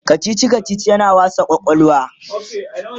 kachichi kachichi yana wasa kwakwalwa